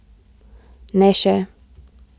Ne še.